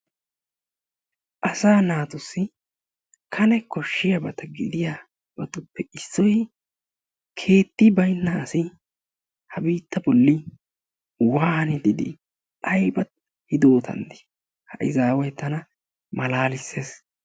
Asaa naatussi kane kooshshiyaabata gidiyabatuppe issoy giididi keetti baynna asi ha biittaa bolli waanidi dii? ayba hiidootan dii? ha iizzaway tana malalissees.